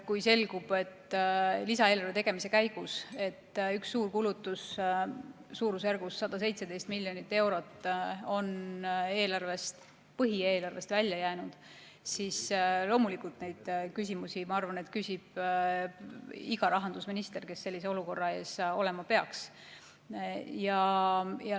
Kui lisaeelarve tegemise käigus selgub, et üks suur kulutus suurusjärgus 117 miljonit eurot on põhieelarvest välja jäänud, siis loomulikult neid küsimusi, ma arvan, küsib iga rahandusminister, kes sellises olukorras olema peaks.